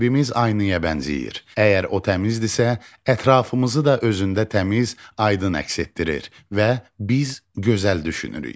Qəlbimiz aynaya bənzəyir, əgər o təmizdirsə, ətrafımızı da özündə təmiz, aydın əks etdirir və biz gözəl düşünürük.